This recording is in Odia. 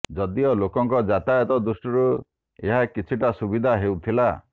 ଯଦିଓ ଲୋକଙ୍କ ଯାତାୟତ ଦୃଷ୍ଟିରୁ ଏହା କିଛିଟା ସୁବିଧା ହେଉଥିଲା